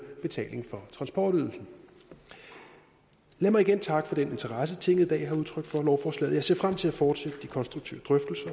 betaling for transportydelsen lad mig igen takke for den interesse tinget i dag har udtrykt for lovforslaget jeg ser frem til at fortsætte de konstruktive